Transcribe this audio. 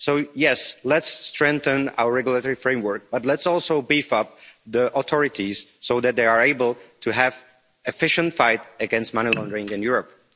So, yes, let's strengthen our regulatory framework, but let's also beef up the authorities so that they are able to have an efficient fight against money laundering in Europe.